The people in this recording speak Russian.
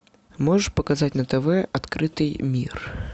можешь показать на тв открытый мир